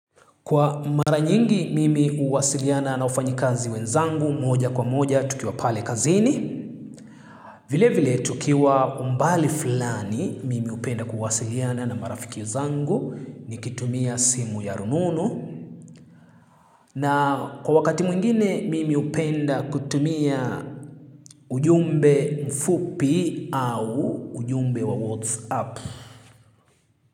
Kwa mara nyingi mimi huwasiliana na wafanyi kazi wenzangu moja kwa moja tukiwa pale kazini. Vile vile tukiwa umbali fulani mimi hupenda kuwasiliana na marafiki zangu nikitumia simu ya rununu. Na kwa wakati mwingine mimi hupenda kutumia ujumbe mfupi au ujumbe wa WhatsApp.